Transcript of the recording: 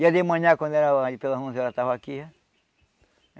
Ia de manhã, quando era ali, pelas onze horas, estava aqui.